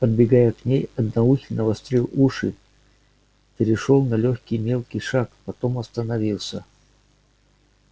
подбегая к ней одноухий навострил уши перешёл на лёгкий мелкий шаг потом остановился